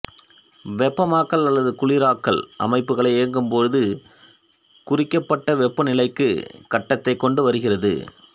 வெப்பமாக்கல் அல்லது குளிராக்கல் அமைப்புகளை இயக்கும் போது குறிக்கப்பட்ட வெப்பநிலைக்கு கட்டடத்தைக் கொண்டு வருகிறது